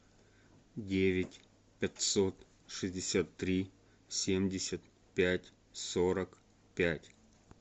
девять пятьсот шестьдесят три семьдесят пять сорок пять